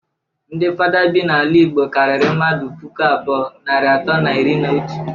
Ndi fada bi n'ala igbo karịrị mmadu puku abụọ, narị atọ na iri na otu.